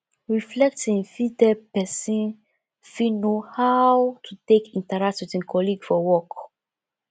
reflecting fit help person fit know how to take interact with im colleague for work